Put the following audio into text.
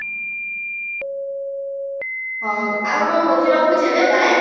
ହଉ ଆଉ କଣ କହୁଛୁ ରଖୁଛି ଏବେ bye